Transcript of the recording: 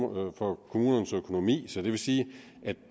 bånd fra kommunernes økonomi det vil sige at